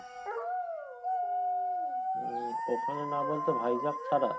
উম ওখানে না বলতে হাইজ্যাক ছাড়া ?